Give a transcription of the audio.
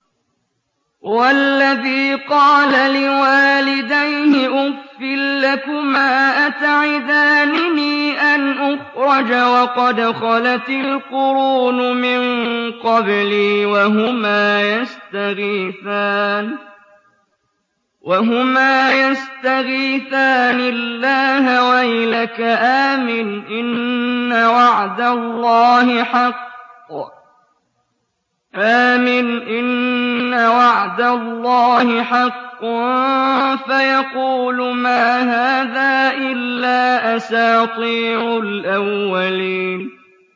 وَالَّذِي قَالَ لِوَالِدَيْهِ أُفٍّ لَّكُمَا أَتَعِدَانِنِي أَنْ أُخْرَجَ وَقَدْ خَلَتِ الْقُرُونُ مِن قَبْلِي وَهُمَا يَسْتَغِيثَانِ اللَّهَ وَيْلَكَ آمِنْ إِنَّ وَعْدَ اللَّهِ حَقٌّ فَيَقُولُ مَا هَٰذَا إِلَّا أَسَاطِيرُ الْأَوَّلِينَ